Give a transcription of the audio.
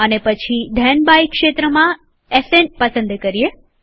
અને પછી then by ક્ષેત્રમાં એસએન પસંદ કરીએ